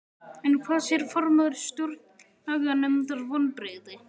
En hvað segir formaður Stjórnlaganefndar, vonbrigði?